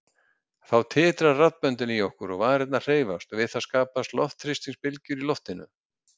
Þá titra raddböndin í okkur og varirnar hreyfast og við það skapast þrýstingsbylgjur í loftinu.